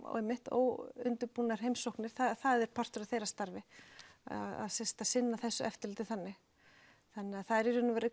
óundirbúnar heimsóknir það er partur af þeirra starfi að sinna þessu eftirliti þannig þannig það eru í raun og veru